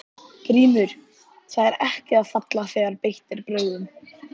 GRÍMUR: Það er ekki að falla þegar beitt er brögðum.